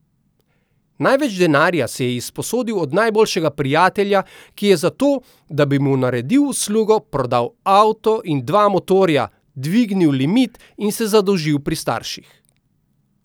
Največ denarja si je izposodil od najboljšega prijatelja, ki je za to, da bi mu naredil uslugo, prodal avto in dva motorja, dvignil limit in se zadolžil pri starših.